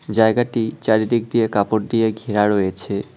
জায়গাটি চারিদিক দিয়ে কাপড় দিয়ে ঘেরা রয়েছে।